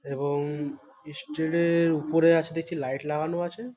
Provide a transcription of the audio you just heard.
এবং ইস্টেডের ওপরে আছে দেখছি লাইট লাগানো আছে --